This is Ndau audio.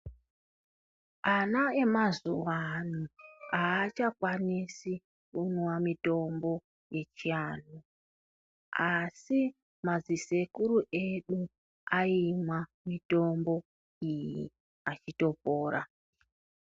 Ana emazuva ano hachakwanisi kumwa mitombo yechiantu. Asi madzisekuru edu aimwa mutombo iyi achitopora.